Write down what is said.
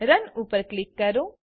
run ઉપર click કરો